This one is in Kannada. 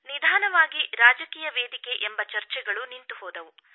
ನಿಧಾನವಾಗಿ ರಾಜಕೀಯ ವೇದಿಕೆ ಎಂಬ ಚರ್ಚೆಗಳು ನಿಂತು ಹೋದವು